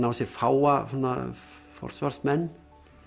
á sér fáa forsvarsmenn